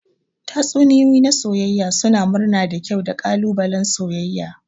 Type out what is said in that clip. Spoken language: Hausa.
Tatsuniyoyi na soyayya suna murna da kyau da ƙalubalen soyayya.